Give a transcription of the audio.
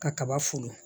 Ka kaba folo